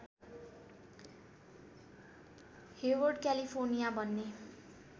Hayward California भन्ने